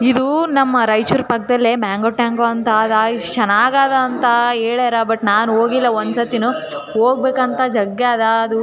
ನನ್ನ ಮಗಳಿಗೆ ಕರ್ಕೊಂಡ್ ಹೊಕ್ಕಾತೇನಿ ಮಮ್ಮಗಳಿಗೆ. ಆಕೀನ ಆಡ್ತಾಳೆ. ಜಾರಬಂಡೆ ಅವು ಇವು ಇರ್ತಾವಲ ಆಟಾ ಆಡೋದು. ಅದೆಲ್ಲ ಆದಿ ಖುಷಿ ಪಡ್ತಾಳೆ.